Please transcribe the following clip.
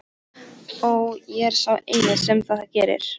Og ég er sá eini sem það gerir.